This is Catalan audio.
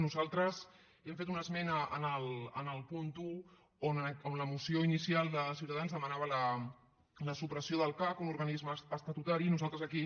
nosaltres hem fet una esmena en el punt un on la moció inicial de ciutadans demanava la supressió del cac un organisme estatutari i nosaltres aquí